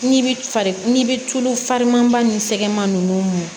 N'i bi fari n'i be tulu fariman nun sɛgɛnman nunnu